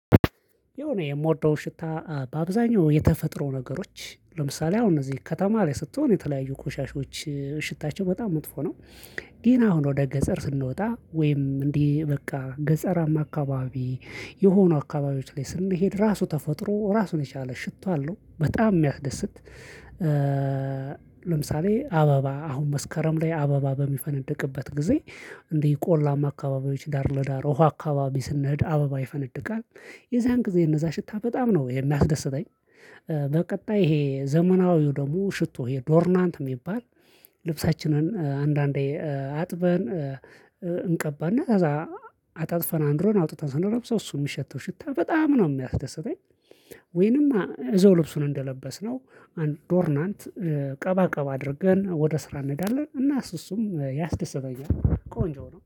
የሆነ የምወደው ሽታ በአብዛኛው የተፈጥሮ ነገሮች ለምሳሌ አሁን እነዚህ ከተማ ላይ ስትሆን የተለያዩ ቆሻሾች ሽታቸው በጣም መጥፎ ነው ግን አሁን ወደ ገጸር ስንወጣ ወይም እንዲህ በቃ ገጸራማ አካባቢ የሆኑ አካባቢዎች ላይ ስንሄድ ራሱ ተፈጥሮ ራሱን የቻለ ሽቶ አለው በጣም የሚያስደስት ለምሳሌ አበባ አሁን መስከረም ላይ አበባ በሚፈነድቅበት ጊዜ እንዲህ ቆላማ አካባቢዎች ዳር ለዳር ውሃ አካባቢ ስንሄድ አበባ ይፈነድቃል የዚያን ጊዜ እነዛ ሽታ በጣም ነው የምደሰተኝ። በቀጣይ ይሄ ዘመናዊው ደግሞ ሽቶ ይሄ ዶርናንት የሚባል ልብሳችንን አንዳንዴ አጥበን እንቀባና ከዛ አጣጥፈን አኑረን አውጥተን ስንለብሰው እሱን የሚሸተው ሽታ በጣም ነው የሚያስደስተኝ ወይንም እዛው ልብሱን እንደለበስነው አንድ ዶርናንት ቀባ ቀባ አድርገን ወደ ስራ እንሄዳለን እና እሱም ያስደስተኛል ቆንጆ ነው።